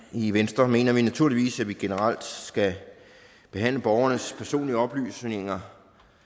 i venstre mener vi naturligvis at vi generelt skal behandle borgernes personlige oplysninger